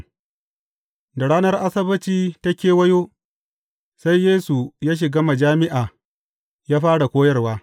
Da ranar Asabbaci ta kewayo, sai Yesu ya shiga majami’a ya fara koyarwa.